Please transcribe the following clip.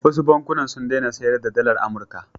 Wasu bankuna sun daina sayar da dalar Amurka.